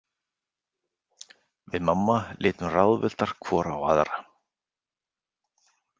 Við mamma litum ráðvilltar hvor á aðra.